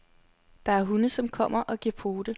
Der er hunde, som kommer og giver pote.